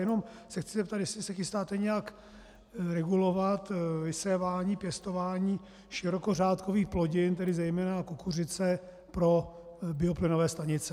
Jenom se chci zeptat, jestli se chystáte nějak regulovat vysévání, pěstování širokořádkových plodin, tedy zejména kukuřice, pro bioplynové stanice.